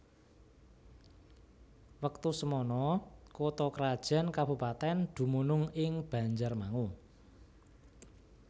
Wektu semana kutha krajan kabupatèn dumunung ing Banjarmangu